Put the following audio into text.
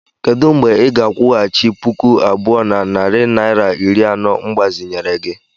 Kedu mgbe ị ga-akwụghachi puku abụọ na narị naịra iri anọ mgbazinyere gi?